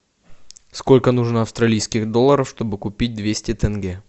сколько нужно австралийских долларов чтобы купить двести тенге